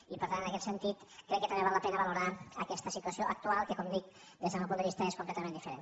i per tant en aquest sentit crec que també val la pena valorar aquesta situació actual que com dic des del meu punt de vista és completament diferent